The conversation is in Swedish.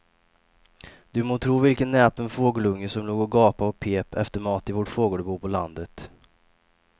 Du må tro vilken näpen fågelunge som låg och gapade och pep efter mat i vårt fågelbo på landet.